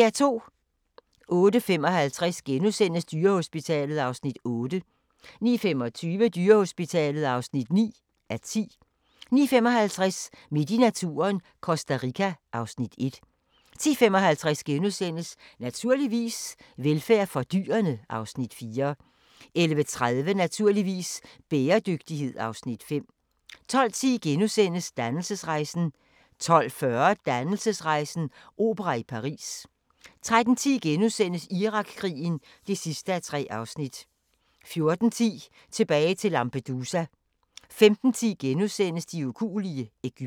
08:55: Dyrehospitalet (8:10)* 09:25: Dyrehospitalet (9:10) 09:55: Midt i naturen – Costa Rica (Afs. 1) 10:55: Naturligvis - velfærd for dyrene (Afs. 4)* 11:30: Naturligvis - bæredygtighed (Afs. 5) 12:10: Dannelsesrejsen * 12:40: Dannelsesrejsen - opera i Paris 13:10: Irakkrigen (3:3)* 14:10: Tilbage til Lampedusa 15:10: De ukuelige – Egypten *